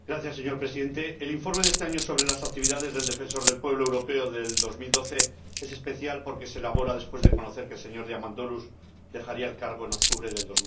Señor Presidente, el informe de este año sobre las actividades del Defensor del Pueblo Europeo en 2012 es especial porque se elabora después de conocer que el señor Diamandouros dejará el cargo en octubre de